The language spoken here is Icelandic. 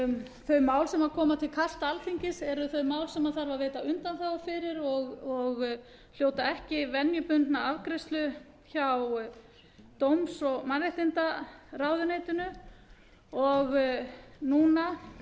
þau mál sem koma til kasta alþingis eru þau mál sem þarf að veita undanþágu fyrir og hljóta ekki venjubundna afgreiðslu hjá dómsmála og mannréttindaráðuneytinu